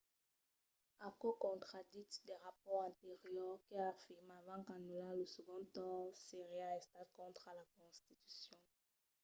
aquò contraditz de rapòrts anteriors que afirmavan qu’anullar lo segond torn seriá estat contra la constitucion